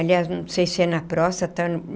Aliás, não sei se é na próstata.